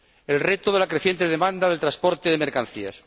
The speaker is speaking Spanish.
el reto de la creciente demanda del transporte de mercancías